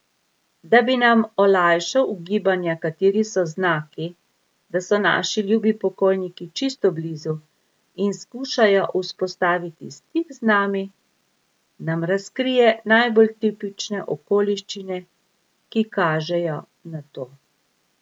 Da bi nam olajšal ugibanja, kateri so znaki, da so naši ljubi pokojniki čisto blizu in skušajo vzpostaviti stik z nami, nam razkrije najbolj tipične okoliščine, ki kažejo na to.